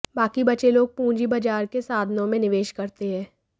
बाकी बचे लोग पूंजी बाजार के साधनों में निवेश करते हैं